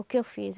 O que eu fiz?